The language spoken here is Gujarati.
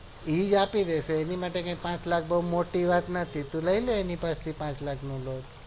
ઈ જ આપી દેશે અણી માટે કોઈ પાંચ લાખ બૌ મોટી વાત નથી તું લઇ લે એની પાસે થી પાંચ લાખ ની lone